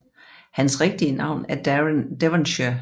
Hans rigtige navn er Darren Devonshire